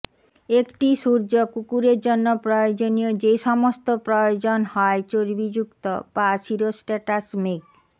একটি সূর্য কুকুরের জন্য প্রয়োজনীয় যে সমস্ত প্রয়োজন হয় চর্বিযুক্ত বা সিরোস্ট্যাটাস মেঘ